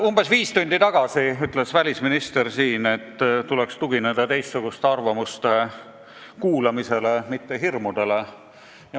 Umbes viis tundi tagasi ütles välisminister siin, et tuleks tugineda teistsuguste arvamuste kuulamisele, mitte hirmudele.